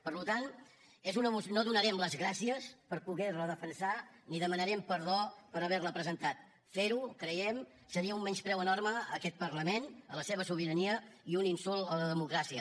per tant no donarem les gràcies per poder la defensar ni demanarem perdó per haver la presentat fer ho ho creiem seria un menyspreu enorme a aquest parlament a la seva sobirania i un insult a la democràcia